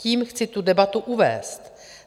Tím chci tu debatu uvést.